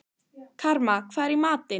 Karma, hvað er í matinn?